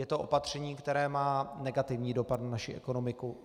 Je to opatření, které má negativní dopad na naši ekonomiku.